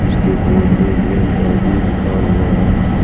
इसके बोर्ड में इंडियन टैटू लिखा हुआ है।